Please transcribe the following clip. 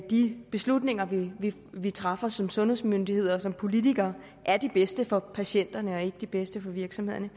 de beslutninger vi vi træffer som sundhedsmyndigheder og som politikere er de bedste for patienterne og ikke de bedste for virksomhederne